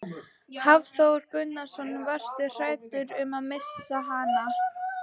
Hafþór Gunnarsson: Varstu hræddur um að missa hana?